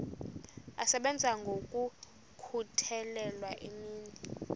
asebenza ngokokhutheleyo imini